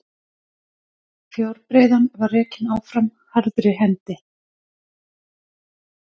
Fjárbreiðan var rekin áfram harðri hendi.